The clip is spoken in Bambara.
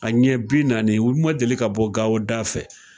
A ɲɛ bi naani u ma deli ka bɔ gawo da fɛ